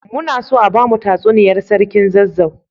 Muna so a bamu tsuniyar sarkin zazzau